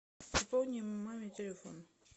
пополни маме телефон